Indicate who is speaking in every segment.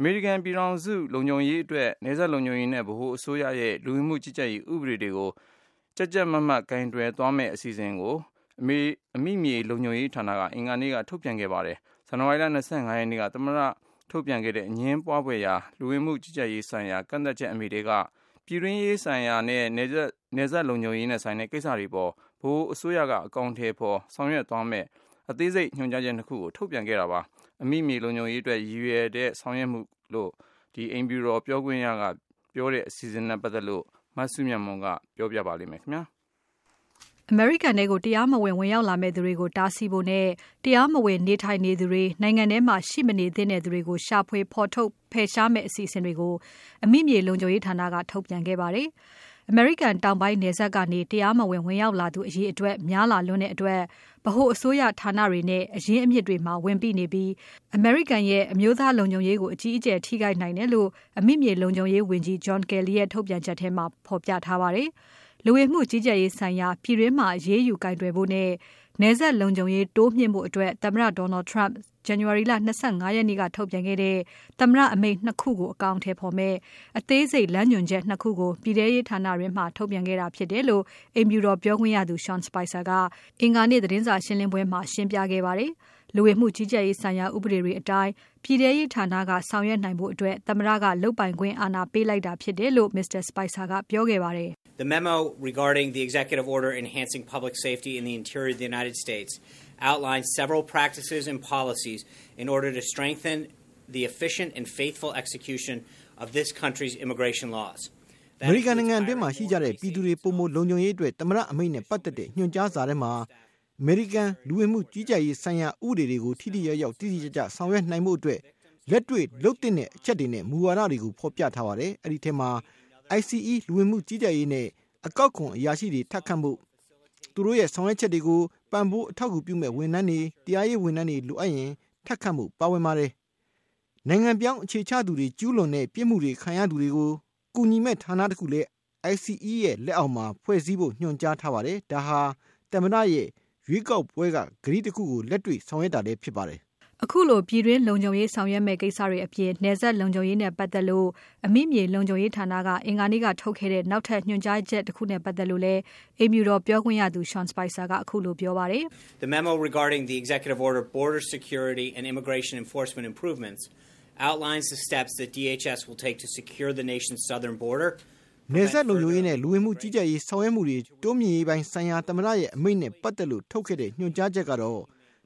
Speaker 1: အမေရိကန်ပြည်ထောင်စု လုံခြုံရေးအတွက် နယ်စပ်လုံခြုံရေးနဲ့ ဗဟိုအစိုးရရဲ့ လူဝင်မှုကြီးကြပ်ရေးဥပဒေတွေကို ကြပ်ကြပ်မတ်မတ် ကိုင်တွယ်သွားမယ့် အစီအစဉ်တွေကို အမိမြေလုံခြုံရေးဌာနက အင်္ဂါနေ့က ထုတ်ပြန်ခဲ့ပါတယ်။ နိုင်ငံလုံခြုံရေးအတွက် ဇန်နဝါရီလ ၂၅ ရက်နေ့က သမ္မတထုတ်ပြန်ခဲ့တဲ့ အမိန့်အတိုင်း ပြည်တွင်းရေးဆိုင်ရာနဲ့ နယ်စပ်လုံခြုံရေးနဲ့ဆိုင်တဲ့ ကိစ္စတွေအပေါ် ဗဟိုအစိုးရက အကောင်အထည်ဖော် ဆောင်ရွက်သွားမယ့် အသေးစိတ်ညွန်ကြားချက် ၂ ခုကို ထုတ်ပြန်ခဲ့တာဖြစ်ပါတယ်။ အမိမြေလုံခြုံရေးအတွက် ရည်ရွယ်တဲ့ ဆောင်ရွက်မှုလို့ အိမ်ဖြူတော်ပြောခွင့်ရသူက ပြောတဲ့အစီအစဉ်တွေနဲ့ ပတ်သက်လို့ မစုမြတ်မွန်က တင်ပြထားပါတယ်။
Speaker 2: အမေရိကန်ထဲကို တရားမဝင် ဝင်ရောက်လာမယ့်သူတွေကို တားဆီးဖို့နဲ့ တရားမဝင် နေထိုင်နေသူတွေ၊ နိုင်ငံထဲမှာရှိမနေသင့်သူတွေကို ရှာဖွေ၊ ဖော်ထုတ်၊ ဖယ်ရှားမယ့် အစီအစဉ်တွေကို အမိမြေလုံခြုံရေးဌာနက ထုတ်ပြန်ခဲ့ပါတယ်။ အမေရိကန်တောင်ပိုင်း နယ်စပ်ကနေ တရားမဝင် ဝင်ရောက်လာသူ အရေအတွက်များလာလွန်းတဲ့အတွက် ဗဟိုအစိုးရဌာနတွေနဲ့ အရင်းအမြစ်တွေမှာ ဝန်ပိနေပြီး အမေရိကန်ရဲ့ အမျိုးသားလုံခြုံရေးကို အကြီးအကျယ်ထိခိုက်နိုင်တယ်လို့ အမိမြေလုံခြုံရေးဝန်ကြီး John Kelly ရဲ့ထုတ်ပြန်ချက်ထဲမှာ ဖော်ပြထားပါတယ်။ လူဝင်မှုကြီးကြပ်ရေးဆိုင်ရာ ပြည်တွင်းမှာ အရေးယူကိုင်တွယ်ဖို့နဲ့ နယ်စပ်လုံခြုံရေးတိုးမြှင့်ဖို့အတွက် သမ္မတ Donald Trump ဇန်နဝါရီလ ၂၅ ရက်နေ့က ထုတ်ပြန်ခဲ့တဲ့ သမ္မတအမိန့် ၂ ခုကို အကောင်အထည်မယ့် အသေးစိတ်လမ်းညွန်ချက် ၂ ခုကို ပြည်ထဲရေးဌာနတွင်းမှာ ထုတ်လိုက်တာဖြစ်တယ်လို့ အိမ်ဖြူတော်ပြောခွင့်ရသူ Sean Spicer ကအင်္ဂါနေ့ သတင်းစာရှင်းပွဲမှာ ရှင်းလင်းခဲ့ပါတယ်။ လူဝင်မှုကြီးကြပ်ရေးဆိုင်ရာ ဥပဒေတွေအတိုင်း ပြည်ထဲရေးဌာနက ဆောင်ရွက်နိုင်ဖို့ သမ္မတက လုပ်ပိုင်ခွင့်အာဏာပေးလိုက်တာဖြစ်တယ်လို့ Mr. Spicer က ပြောခဲ့ပါတယ်။
Speaker 3: “အမေ
Speaker 4: ရိကန်နိုင်ငံတွင်းမှာရှိကြတဲ့ ပြည်သူတွေ ပိုမိုလုံခြုံရေးအတွက် သမ္မတအမိန့်နဲ့ပတ်သက်တဲ့ ညွှန်ကြားစာထဲမှာ အမေရိကန်လူဝင်မှု ကြီးကြပ်ရေးဆိုင်ရာ ဥပဒေတွေကို ထိထိရောက်ရောက်၊ တိတိကျကျ ဆောင်ရွက်နိုင်ဖို့အတွက် လက်တေ့ွလုပ်သင့်တဲ့အချက်တွေနဲ့ မူဝါဒတွေကို ဖော်ပြထားပါတယ်။ အဲဒီထဲမှာ ICE လူဝင်မှုကြီးကြပ်ရေးနဲ့ အကောက်ခွန်အရာရှိတွေကို ထပ်ခန့်ဖို့၊ သူတို့ရဲ့ဆောင်ရွက်ချက်တွေကို ပံ့ပိုးအထောက်အကူပြုမယ့် ဝန်ထမ်းတွေ၊ တရားရေးဝန်ထမ်းတွေကို လိုအပ်ရင် ထပ်ခန့်ဖို့ ပါဝင်ပါတယ်။ နိုင်ငံပြောင်းအခြေချသူတွေကျူးလွန်တဲ့ ပြစ်မှုတွေခံရသူတွေကို ကူညီမယ့်ဌာနတခုကိုလည်း ICE ဌာနရဲ့လက်အောက်မှာ ဖွဲ့စည်းဖို့ ညွှန်ကြားထားပါတယ်။ ဒါဟာ သမ္မတရဲ့ ရွေးကောက်ပွဲ အဓိကတိတခုကို လက်တွေ့ဆောင်ရွက်တာဖြစ်ပါတယ်။”
Speaker 2: ခုလို ပြည်တွင်းလုံခြုံရေး ဆောင်ရွက်မယ့် ကိစ္စတွေအပြင် နယ်စပ်လုံခြုံရေးနဲ့ ပတ်သက်လို့ အမိမြေလုံခြုံရေးဌာနက အင်္ဂါနေ့ကထုတ်ခဲ့တဲ့ နောက်ညွန်ကြားချက်တခုနဲ့ ပတ်သက်လို့လည်း အိမ်ဖြူတော်ပြောခွင့်ရသူ Sean Spicer က ခုလိုပြောပါတယ်။
Speaker 3: “
Speaker 4: နယ်စပ်လုံခြုံရေးနဲ့ လူဝင်မှုကြီးကြပ်ရေးဆောင်ရွက်မှုတွေ တိုးမြှင့်ရေးပိုင်းဆိုင်ရာ သမ္မတရဲ့ အမိန့်နဲ့ပါတ်သက်လို့ထုတ်ခဲ့တဲ့ ညွန်ကြားချက်ကတော့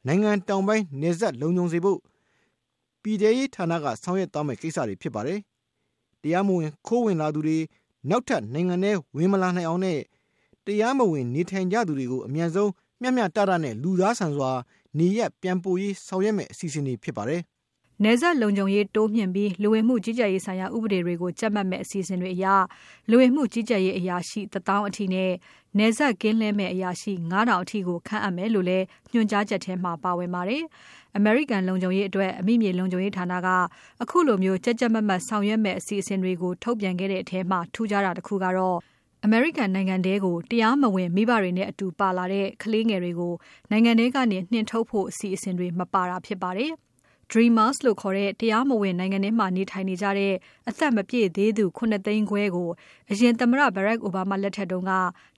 Speaker 4: နိုင်ငံတောင်ပိုင်းနယ်စပ်လုံခြုံစေဖို့ ပြည်ထဲရေးဌာနက ဆောင်ရွက်သွားမယ့်ကိစ္စတွေဖြစ်ပါတယ်။ တရားမဝင်ခိုးဝင်လာသူတွေ နောက်ထပ်နိုင်ငံထဲမလာနိုင်အောင်နဲ့ တရားမဝင်နေထိုင်နေကြသူတွေကို အမြန်ဆုံး၊ မျှမျှတတနဲ့ လူသားဆန်စွာနေရပ်ပြန်ပို့ရေးတွေ ဆောင်ရွက်မယ့် အစီအစဉ်တွေဖြစ်ပါတယ်။
Speaker 2: ” နယ်စပ်လုံခြုံရေးတိုးမြှင့်ပြီး လူဝင်မှုကြီးကြပ်ရေးဆိုင်ရာ ဥပဒေတွေကို ကြပ်မတ်မယ့် အစီအစဉ်တွေအရ လူဝင်မှုကြီးကြပ်ရေးအရာရှိ ၁ သောင်းအထိနဲ့ နယ်စပ်ကင်းလှည့်မယ့် အရာရှိ ၅ ထောင်အထိကို ခန့်အပ်မယ့်လို့လည်း ညွှန်ကြားချက်တွေထဲမှာ ပါဝင်ပါတယ်။ အမေရိကန်လုံခြုံရေးအတွက် အမိမြေလုံခြုံရေးဌာနက ခုလို ကြပ်ကြပ်မတ်မတ်ဆောင်ရွက်မယ့် အစီအစဉ်တွေကို ထုတ်ပြန်ခဲ့တဲ့ထဲမှာ ထူးခြားတာတခုကတော့ အမေရိကန်နိုင်ငံထဲကို တရားမဝင်မိဘတွေနဲ့အတူ ပါလာတဲ့ ကလေးငယ်တွေကို နိုင်ငံထဲကနေ နှင်ထုတ်ဖို့ အစီအစဉ်တွေ မပါဝင်တာပါ။ Dreamers လို့ခေါ်တဲ့ တရားမဝင်နိုင်ငံထဲမှာ နေထိုင်နေကြတဲ့ အသက်မပြည့်သေးသူ ၇ သိန်းခွဲကို အရင်သမ္မတ Barack Obama လက်ထက်က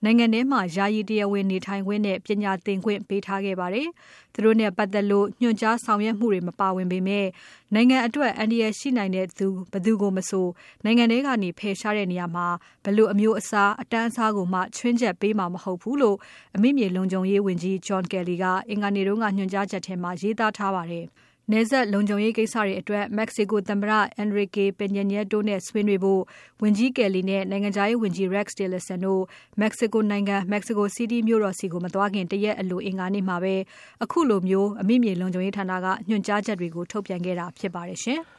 Speaker 2: နိုင်ငံထဲမှာ ယာယီတရားဝင်နေထိုင်ခွင့်နဲ့ ပညာသင်ခွင့်ပေးထားခဲ့ပါတယ်။ သူတို့နဲ့ပါတ်သက်လို့ ညွန်ကြားဆောင်ရွက်မှုတွေ မပါဝင်ပေမဲ့ နိုင်ငံအတွက်အန္တရာယ်ရှိနိုင်တဲ့သူ ဘယ်သူကိုမဆို နိုင်ငံထဲကနေ ဖယ်ရှားတဲ့နေရာမှာ ဘယ်လို အမျိုးအစား အတန်းအစားကိုမှ ခြွင်းချက်ပေးမှာ မဟုတ်ဘူးလို့ အမိမြေလုံခြုံရေးဝန်ကြီး John Kelly က အင်္ဂါနေ့က ညွန်ကြားချက်တွေထဲမှာ ရေးသားထားပါတယ်။ နယ်စပ်လုံခြုံရေးကိစ္စအတွက် Mexico သမ္မတ Enrique Peña Nieto ဆွေးနွေးဖို့ ဝန်ကြီး Kelly နဲ့ နိုင်ငံခြားရေးဝန်ကြီး Rex Tillerson တို့ Mexico နိုင်ငံ Mexico City မြို့တော်ကို မသွားခင် တရက်တရက်အလို အင်္ဂါနေ့မှာ အခုလို ညွန်ကြားချက်တွေကို အမိမြေလုံခြုံရေးဌာနက ထုတ်ပြန်ခဲ့တာဖြစ်ပါတယ်ရှင်။